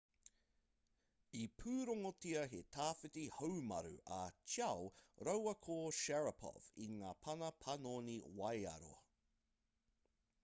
i pūrongotia he tawhiti haumaru a chiao rāua ko sharipov i ngā pana panoni waiaro